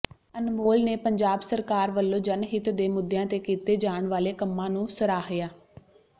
ਅਨਮੋਲ ਨੇ ਪੰਜਾਬ ਸਰਕਾਰ ਵੱਲੋਂ ਜਨਹਿਤ ਦੇ ਮੁੱਦਿਆਂ ਤੇ ਕੀਤੇ ਜਾਣ ਵਾਲੇ ਕੰਮਾਂ ਨੂੰ ਸਰਾਹਿਆ